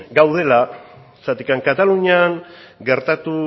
gaudela zergatik katalunian gertatu